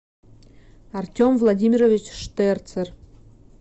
артем владимирович штерцер